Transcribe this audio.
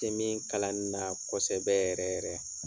Tɛ min kalani na kosɛbɛ yɛrɛ yɛrɛ.